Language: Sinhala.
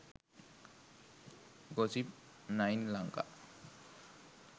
gossip 9 lanka